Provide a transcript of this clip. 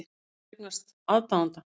Þú hefur eignast aðdáanda.